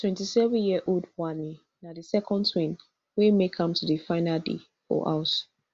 twenty-sevenyearold wanni na di second twin wey make am to di final day for house